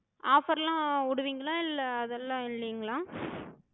offer லா விடுவிங்களா? இல்ல அதெல்லா இல்லைங்களா?